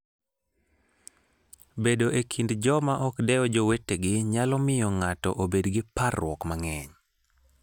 Bedo e kind joma ok dew jowetegi nyalo miyo ng'ato obed gi parruok mang'eny.